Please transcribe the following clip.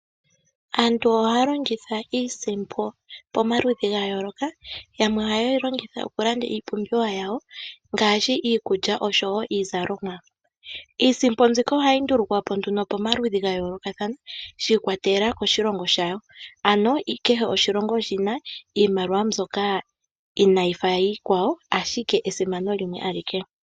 Aantu ohaya longitha iisimpo pomaludhi gayooloka, yamwe ohaye yi longitha okulanda iipumbiwa yawo ngaashi iikulya osho woo iizalomwa yawo. Iisimpo mbika ohayi ndulukwa po nduno pamaludhi gayoolokathana shiikwatelela koshilongo sha yo ano kehe oshilongo oshina iimaliwa mbyoka inaayi fa yakwawo ashike esimano limwe alike.